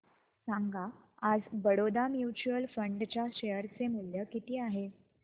सांगा आज Baroda mutual fund च्या शेअर चे मूल्य किती आहे